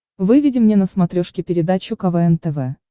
выведи мне на смотрешке передачу квн тв